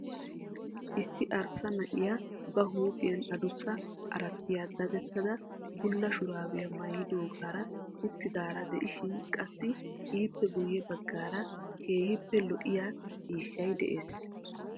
Issi arsa na'iya ba huuphphiyan addussa arttiya dadettada bulla shuraabiya maayidoogaara uttidaara de'ishin qassi ippe guye bagaara keehiippe lo'iya ciishshay dees.